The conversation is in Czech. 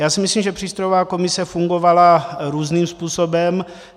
Já si myslím, že přístrojová komise fungovala různým způsobem.